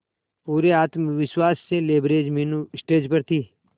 पूरे आत्मविश्वास से लबरेज मीनू स्टेज पर थी